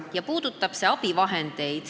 See puudutab abivahendeid.